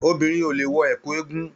Obìnrin o le wọ ẹkú eégún.